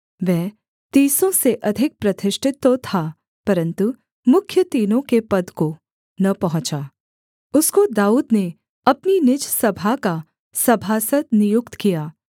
वह तीसों से अधिक प्रतिष्ठित तो था परन्तु मुख्य तीनों के पद को न पहुँचा उसको दाऊद ने अपनी निज सभा का सभासद नियुक्त किया